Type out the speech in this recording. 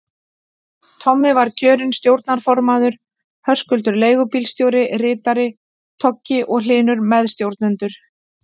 Tommi var kjörinn stjórnarformaður, Höskuldur leigubílstjóri ritari, Toggi og Hlynur meðstjórnendur.